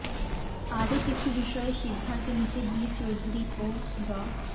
আরও কিছু বিষয়ে সিদ্ধান্ত নিতে বি চৌধুরী ও ড